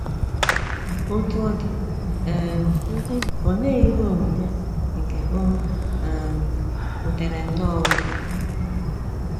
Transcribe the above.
Otú ọ dị, um olee ihe omume nke o um butere nnọọ ụzọ?